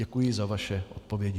Děkuji za vaše odpovědi.